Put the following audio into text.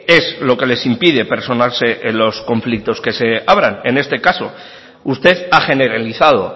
es lo que les impide personarse en los conflictos que se abran en este caso usted ha generalizado